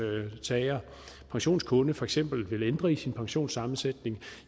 pensionskunde for eksempel vil ændre i sin pensionssammensætning